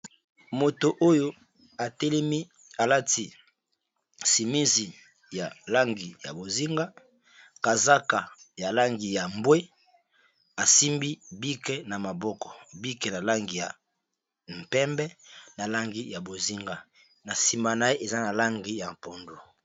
Mutu oyo atelemi, alati semizi ya langi ya bozinga, kazaka ya langi ya mbwe